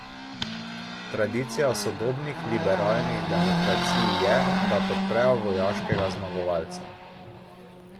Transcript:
Tradicija sodobnih liberalnih demokracij je, da podprejo vojaškega zmagovalca.